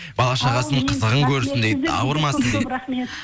бала шағасының қызығын көрсін дейді ауырмасын дейді көп рахмет